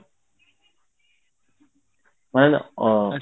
ମାନେ ଅଁ